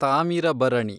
Thamirabarani